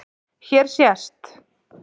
Hér sést